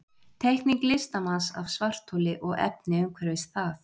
Teikning listamanns af svartholi og efni umhverfis það.